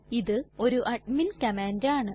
ഇത് ഒരു admin command ആണ്